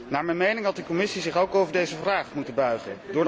Naar mijn mening had de commissie zich ook over deze vraag moeten buigen.